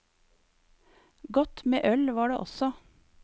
Godt med øl var det også.